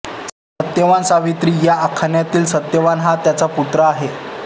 सत्यवानसावित्री या आख्यानातील सत्यवान हा त्यांचा पुत्र आहे